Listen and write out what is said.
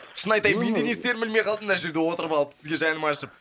шын айтайын мен де не істерімді білмей қалдым мына жерде отырып алып сізге жаным ашып